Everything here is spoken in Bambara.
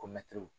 Ko mɛtiriw